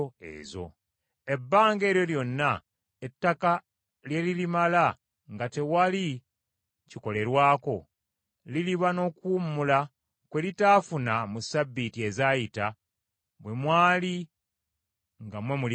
Ebbanga eryo lyonna ettaka lye lirimala nga tewali kikolerwako, liriba n’okuwummula kwe litaafuna mu ssabbiiti ezaayita bwe mwali nga mmwe mulibeerako.